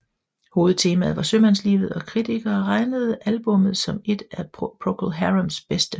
Hovedtemaet var sømandslivet og kritikere regnede albummet som et af Procol Harums bedste